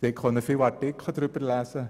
Sie konnten viele Artikel darüber lesen.